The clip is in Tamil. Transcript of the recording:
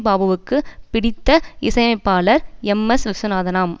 பாபுவுக்கு பிடித்த இசையமைப்பாளர் எம்எஸ் விஸ்வநாதனாம்